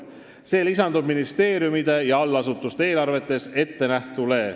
See lisandub ministeeriumide ja allasutuste eelarves ettenähtule.